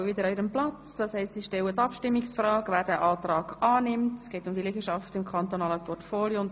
Wer den Kredit annimmt, stimmt ja, wer ihn ablehnt, stimmt nein.